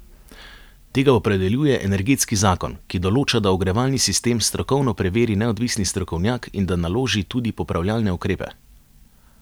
Tega opredeljuje energetski zakon, ki določa, da ogrevalni sistem strokovno preveri neodvisni strokovnjak in da naloži tudi popravljalne ukrepe.